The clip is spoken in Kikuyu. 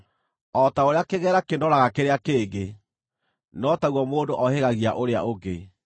O ta ũrĩa kĩgera kĩnooraga kĩrĩa kĩngĩ, no taguo mũndũ ohĩgagia ũrĩa ũngĩ.